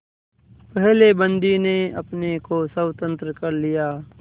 पहले बंदी ने अपने को स्वतंत्र कर लिया